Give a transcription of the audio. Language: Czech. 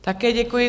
Také děkuji.